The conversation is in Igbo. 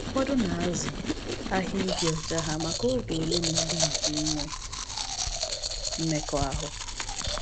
Ụfọdụ na-azụ ahịa ịdị ọcha ha maka oge ole na ole nke inwe mmekọahụ.